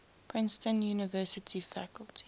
princeton university faculty